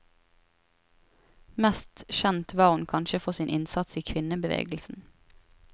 Mest kjent var hun kanskje for sin innsats i kvinnebevegelsen.